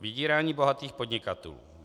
Vydírání bohatých podnikatelů.